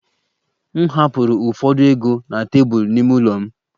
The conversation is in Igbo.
M hapụrụ ụfọdụ ego na tebụl n'ime ụlọ m